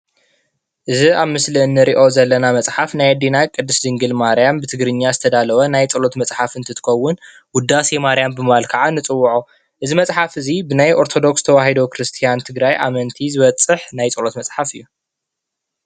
እዚ ኣብ ምስሊ እንሪኦ ዘለና መፅሓፍ ናይ ኣዴና ቅድስት ድንግል ማርያም ብትግርኛ ዝተዳለወ ናይ ፀሎት መፅሓፍ እንትከውን ውዳሴ ማርያም ብምባል ከዓ ንፅውዖ:: እዚ መፅሓፍ እዚ ብ ናይ ኣርተዶክስ ክርስትያን ትግራይ ኣመንቲ ዝበፅሕ ናይ ፀሎት መፅሓፍ እዩ።